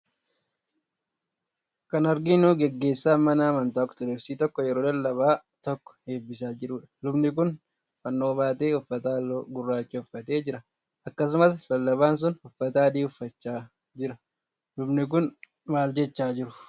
Kan arginu geggeessaan mana amantaa Ortodoksii tokko yeroo lallabaa tokko eebbisaa jiruudha. Lubni kun fannoo baatee uffata halluu gurraachaa uffatee jira. Akkasuma lallabaan sun uffata adii uffachaa jira. lubni kun maal jechaa jiru?